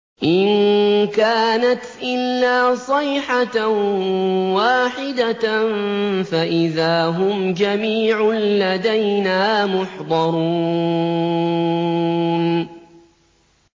إِن كَانَتْ إِلَّا صَيْحَةً وَاحِدَةً فَإِذَا هُمْ جَمِيعٌ لَّدَيْنَا مُحْضَرُونَ